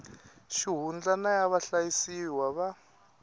xihundla na ya vahlayisiwa va